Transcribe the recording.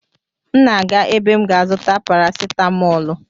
M na-aga ebe m ga-azụta parasetamọlụ